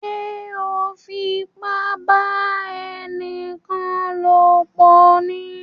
Ṣe o nfipa ba ẹnikan lopọ ní?